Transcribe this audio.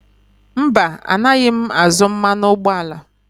Mba, anaghị m azụ mmanụ ụgbọala.